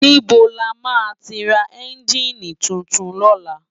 Nibó làmá ti rá ènjini túntún lòlá?